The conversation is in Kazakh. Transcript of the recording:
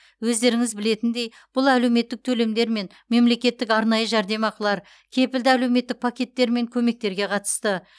өздеріңіз білетіндей бұл әлеуметтік төлемдер мен мемлекеттік арнайы жәрдемақылар кепілді әлеуметтік пакеттер мен көмектерге қатысты